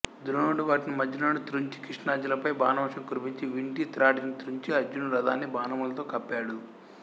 ద్రోణుడు వాటిని మధ్యలోనే త్రుంచి కృష్ణార్జునులపై బాణవర్షం కురిపించి వింటి త్రాటిని త్రుంచి అర్జునుడి రథాన్ని బాణములతో కప్పాడు